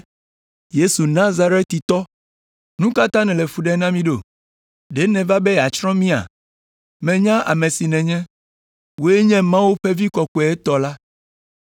“Yesu Nazaretitɔ, nu ka ta nèle fu ɖem na mí ɖo? Ɖe nèva be yeatsrɔ̃ mía? Menya ame si nènye, wòe nye Mawu ƒe Vi Kɔkɔetɔ la.”